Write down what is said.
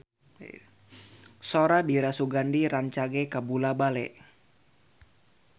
Sora Dira Sugandi rancage kabula-bale